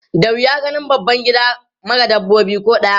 Da wuya ganin babban gida mara dabba ko ɗaya.